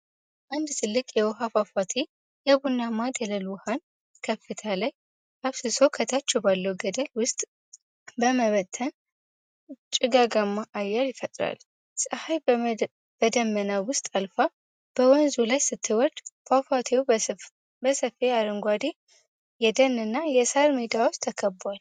አንድ ትልቅ የውሃ ፏፏቴ የቡናማ ደለል ውሀን ከፍታ ላይ አፍስሶ ከታች ባለው ገደል ውስጥ በመበተን ጭጋጋማ አየር ይፈጥራል። ፀሐይ በደመና ውስጥ አልፋ በወንዙ ላይ ስትወርድ፣ ፏፏቴው በሰፊ አረንጓዴ የደን እና የሳር ሜዳዎች ተከቧል።